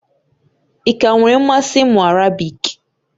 Ị ka nwere mmasị ịmụ Arabiki?